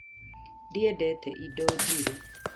Ndiendete indo njirũ